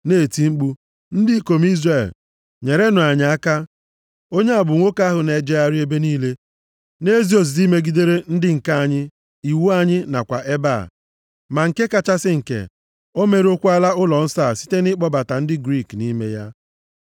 na-eti mkpu, “Ndị ikom Izrel, nyerenụ anyị aka! Onye a bụ nwoke ahụ na-ejegharị nʼebe niile na-ezi ozizi megidere ndị nke anyị, iwu anyị nakwa ebe a. Ma nke kachasị nke, ọ merụọkwala ụlọnsọ a site nʼịkpọbata ndị Griik nʼime ya.”